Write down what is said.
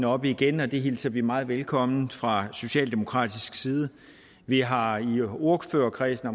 oppe igen og det hilser vi meget velkomment fra socialdemokratisk side vi har i ordførerkredsen